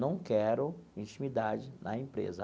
Não quero intimidade na empresa.